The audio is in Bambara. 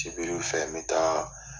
Sibiriw fɛ n bɛ taa.